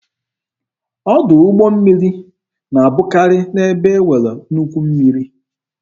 Ọdụ ụgbọ mmiri na-abụkari n'ebe e nwere nnukwu mmiri.